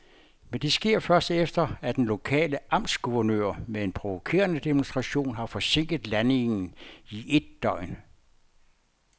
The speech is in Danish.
Men det sker først, efter at den lokale amtsguvernør med en provokerende demonstration har forsinket landingen i et døgn.